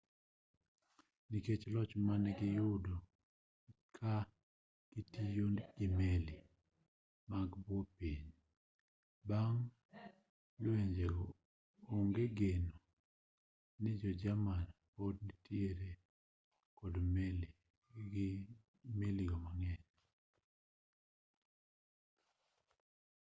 nikech loch mane giyudo ka gitiyo gi meli mag bwo pi bang' lwenjego onge geno ni jo-jerman pod nitiere kod meli go mang'eny